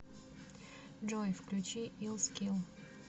джой включи ил скил